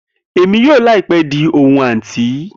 Emi yoo laipe di ohun anti